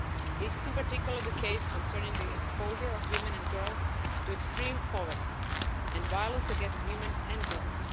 This is in particular the case concerning the exposure of women and girls to extreme poverty and violence against women and girls.